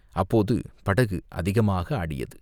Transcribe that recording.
அப்போது படகு அதிகமாக ஆடியது.